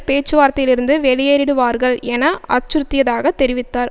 பேச்சுவார்த்தையிலிருந்து வெளியேறிடுவார்கள் என அச்சுறுத்தியதாக தெரிவித்தார்